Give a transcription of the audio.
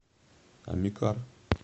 амикар